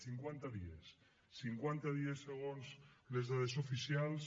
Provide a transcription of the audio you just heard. cinquanta dies cinquanta dies segons les dades oficials